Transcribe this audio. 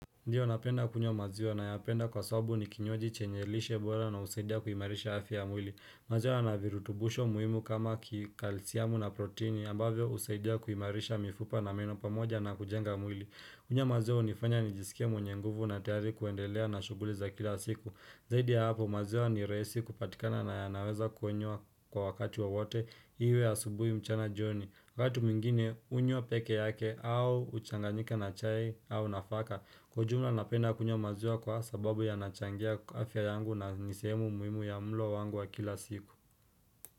Ndiyo napenda kunywa maziwa nayapenda kwasabu ni kinywaji chenye lishe bora na husaidia kuimarisha afya ya mwili. Maziwa yana virutubusho muhimu kama kikalsiamu na proteini ambavyo usaidia kuimarisha mifupa na meno pamoja na kujenga mwili. Kunywa maziwa unifanya nijisikie mwenye nguvu na tayari kuendelea na shuguli za kila siku. Zaidi ya hapo maziwa ni rahisi kupatikana na yanaweza kunywa kwa wakati wowote iwe asubui mchana joni. Watu mwingine unywa peke yake au uchanganyika na chai au nafaka. Kwa ujumla napenda kunywa maziwa kwa sababu yanachangia afya yangu na nisehemu muhimu ya mlo wangu wa kila siku.